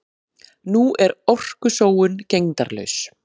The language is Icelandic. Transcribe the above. Nú er orkusóun gegndarlaus.